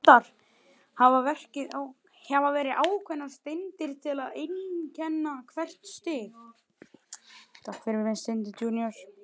Valdar hafa verið ákveðnar steindir til að einkenna hvert stig.